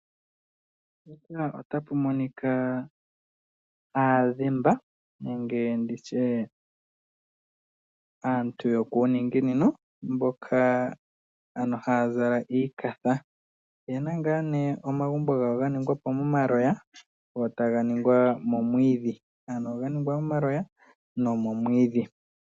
Aadhemba aantu yokuuningino mboka haya zala iikafa oyena omagumbo gawo ga ningwapo momaloya go taga ningwa wo nomo mwiidhi.